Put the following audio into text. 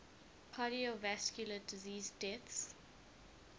cardiovascular disease deaths